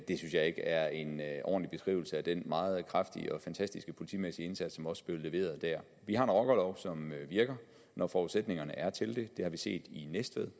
det synes jeg ikke er en ordentlig beskrivelse af den meget kraftige og fantastiske politimæssige indsats som også blev leveret der vi har en rockerlov som virker når forudsætningerne er til det det har vi set i næstved